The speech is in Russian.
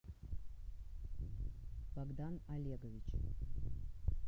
богдан олегович